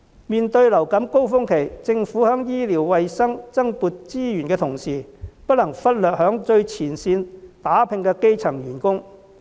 面對流感高峰期，政府在醫療衞生增撥資源的同時，不能忽略在最前線打拼的基層員工。